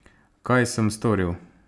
Kaj sem storil?